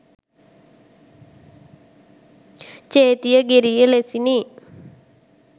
Chetiyagiriya ලෙසිනි.